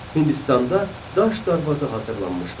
Hindistanda daş darvaza hazırlanmışdır.